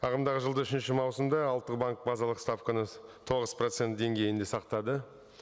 ағымдағы жылда үшінші маусымда ұлттық банк базалық ставканы тоғыз процент деңгейінде сақтады